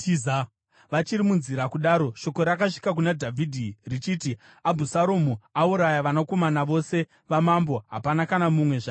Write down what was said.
Vachiri munzira kudaro, shoko rakasvika kuna Dhavhidhi richiti, “Abhusaromu auraya vanakomana vose vamambo; hapana kana mumwe zvake asara.”